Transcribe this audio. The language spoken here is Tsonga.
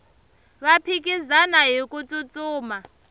va phikizana hiku tsutsuma